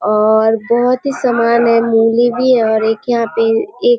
और बहुत ही समान है मूली भी है और पे एक --